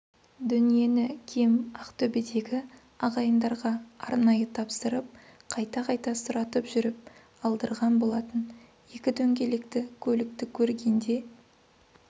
дүниені кем ақтөбедегі ағайындарға арнайы тапсырып қайта-қайта сұратып жүріп алдырған болатын екі дөңгелекті көлікті көргенде